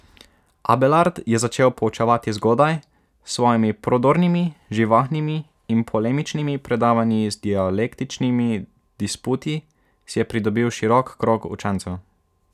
Abelard je začel poučevati zgodaj, s svojimi prodornimi, živahnimi in polemičnimi predavanji in z dialektičnimi disputi si je pridobil širok krog učencev.